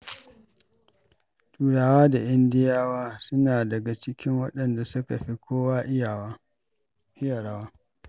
Turawa da Indiyawa suna daga cikin waɗanda suka fi kowa iya rawa.